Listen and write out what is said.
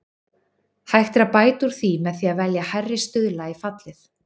Hægt er að bæta úr því með því að velja hærri stuðla í fallið.